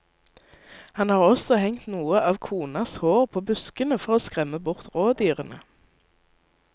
Han har også hengt noe av konas hår på buskene for å skremme bort rådyrene.